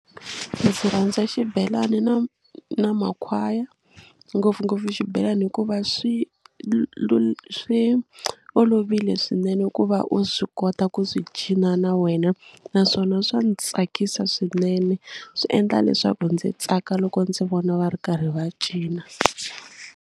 Ndzi rhandza xibelani na na makhwaya ngopfungopfu xibelani hikuva swi swi olovile swinene ku va u swi kota ku swi cina na wena naswona swa ni tsakisa swinene swi endla leswaku ndzi tsaka loko ndzi vona va ri karhi va cina.